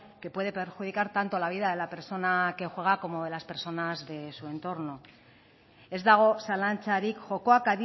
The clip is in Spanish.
que puede perjudicar tanto la vida de la persona que juega como de las personas de su entorno ez dago zalantzarik jokoak